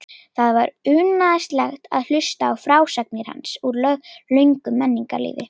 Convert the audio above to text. Það var unaðslegt að hlusta á frásagnir hans úr löngu menningarlífi.